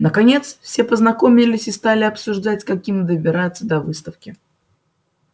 наконец все познакомились и стали обсуждать как им добираться до выставки